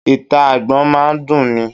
Ìta Agbọ́n máa ń dun ni.